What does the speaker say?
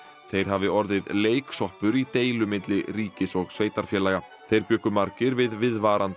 þeir hafi orðið leiksoppur í deilu milli ríkis og sveitarfélaga þeir bjuggu margir við viðvarandi